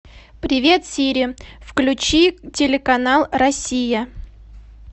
привет сири включи телеканал россия